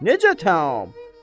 Necə təam?